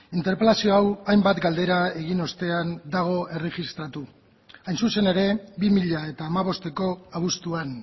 interpelazio hau hainbat galdera egin ostean dago erregistratuta hain zuzen ere bi mila hamabosteko abuztuan